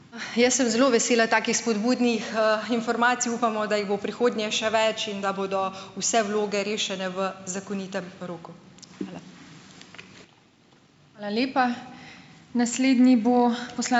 Jaz sem zelo vesela takih spodbudnih informacij. Upamo, da jih bo v prihodnje še več in da bodo vse vloge rešene v zakonitem roku. Hvala.